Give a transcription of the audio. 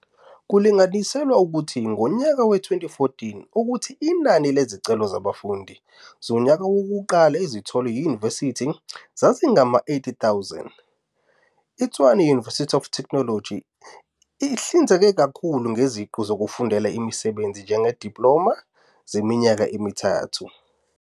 Kulinganiselwa ukuthi, ngonyaka we-2014, ukuthi inani lezicelo zabafundi zonyaka wokuqala ezitholwe yunivesithi zazingama-80,000. ITshwane University of Technology ihlinzeka kakhulu ngeziqu zokufundela umsebenzi njengezidiploma zeminyaka emithathu.